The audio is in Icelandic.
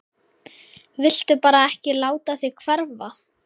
Viltu bara ekki láta þig hverfa?